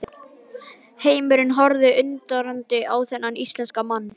Heimurinn horfði undrandi á þennan íslenska mann.